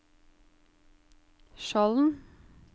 Skjolden